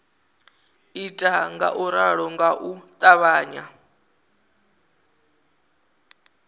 ita ngauralo nga u ṱavhanya